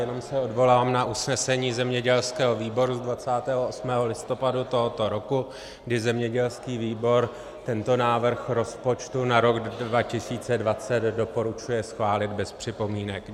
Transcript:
Jenom se odvolám na usnesení zemědělského výboru z 28. listopadu tohoto roku, kdy zemědělský výbor tento návrh rozpočtu na rok 2020 doporučuje schválit bez připomínek.